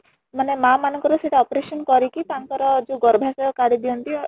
ମାନେ ମାଆ ମାନଙ୍କର ସେଇଟା operation କରିକି ତାଙ୍କର ଯୋଉ ଗର୍ଭାଶୟ କାଢି ଦିଅନ୍ତି